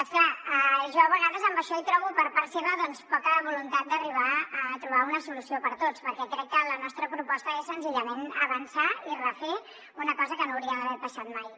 és clar jo a vegades en això hi trobo per part seva doncs poca voluntat d’arribar a trobar una solució per a tots perquè crec que la nostra proposta és senzillament avançar i refer una cosa que no hauria d’haver passat mai